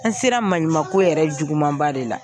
An sera maɲumanko yɛrɛ jugumanba de la.